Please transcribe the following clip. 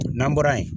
N'an bɔra yen